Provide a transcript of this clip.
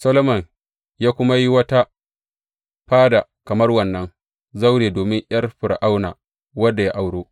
Solomon ya kuma yi wata fada kamar wannan zaure domin ’yar Fir’auna, wadda ya auro.